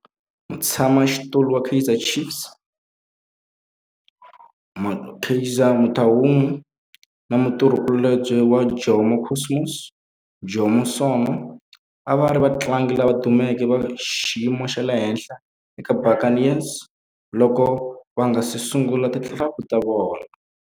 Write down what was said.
Mutshama xitulu wa Kaizer Chiefs Kaizer Motaung na mutirhi kulobye wa Jomo Cosmos Jomo Sono a va ri vatlangi lava dumeke va xiyimo xa le henhla eka Buccaneers loko va nga si sungula ti-club ta vona.